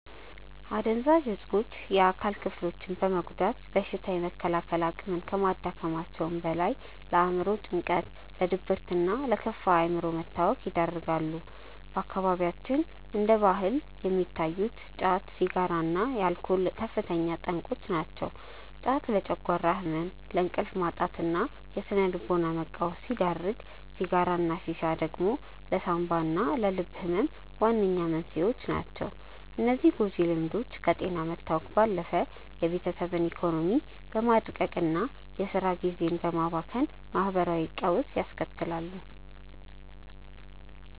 አደንዛዥ እፆች የአካል ክፍሎችን በመጉዳት በሽታ የመከላከል አቅምን ከማዳከማቸውም በላይ፣ ለአእምሮ ጭንቀት፣ ለድብርትና ለከፋ የአእምሮ መታወክ ይዳርጋሉ። በአካባቢያችን እንደ ባህል የሚታዩት ጫት፣ ሲጋራና አልኮል ከፍተኛ የጤና ጠንቆች ናቸው። ጫት ለጨጓራ ህመም፣ ለእንቅልፍ ማጣትና ለስነ-ልቦና መቃወስ ሲዳርግ፣ ሲጋራና ሺሻ ደግሞ ለሳንባና ለልብ ህመም ዋነኛ መንስኤዎች ናቸው። እነዚህ ጎጂ ልምዶች ከጤና መታወክ ባለፈ የቤተሰብን ኢኮኖሚ በማድቀቅና የስራ ጊዜን በማባከን ማህበራዊ ቀውስ ያስከትላሉ።